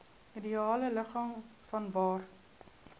ideale ligging vanwaar